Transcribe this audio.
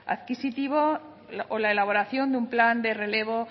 adquisitivo o la elaboración de un plan de relevo